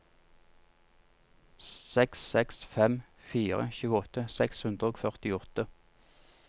seks seks fem fire tjueåtte seks hundre og førtiåtte